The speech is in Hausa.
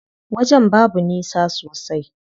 Wajen babu nisa sosai.